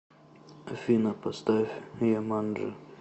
афина поставь джуманджи